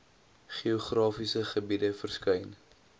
geografiese gebiede verskyn